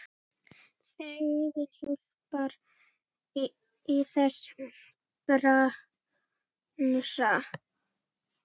Fegurðin hjálpar í þessum bransa.